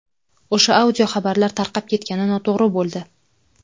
O‘sha audio xabarlar tarqab ketgani noto‘g‘ri bo‘ldi.